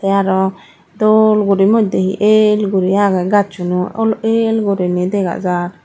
tey aro dol guri modday he el guri agey gaassuno ol el guri dega jar.